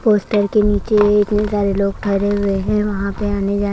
poster के नीचे इतने सारे लोग खड़े हुए हैं यहां पे आने जाने --